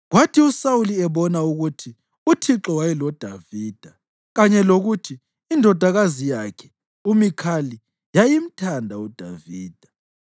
Kwathi uSawuli ebona ukuthi uThixo wayeloDavida kanye lokuthi indodakazi yakhe, uMikhali, yayimthanda uDavida,